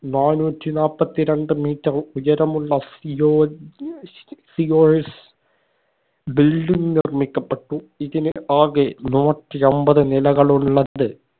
നാന്നൂറ്റി നാപ്പത്തി രണ്ട് metre ഉയരമുള്ള സിയോൻ COS building നിർമ്മിക്കപ്പെട്ടു ഇതിന് ആകെ നൂറ്റെട്ടിയെമ്പത് നിലകളുള്ളത്